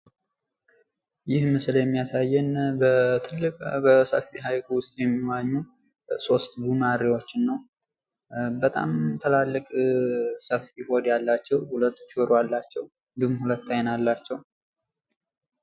ይህ ምስል የሚያሳየን በአንድ ትልቅ ወይም ሰፊ ሀይቅ ውስጥ የሚዋኙ ሶስት ጉማሬዎችን ነው። በጣም ትላልቅ ሰፊ ሆድ ያላቸው ሁለት ጆሮ አላቸው እንድሁም ሁለት አይን አላቸው።